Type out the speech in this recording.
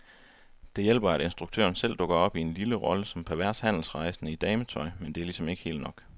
Det hjælper, at instruktøren selv dukker op i en lille rolle som pervers handelsrejsende i dametøj, men det er ligesom ikke helt nok.